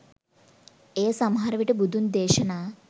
එය සමහරවිට බුදුන් දේශනා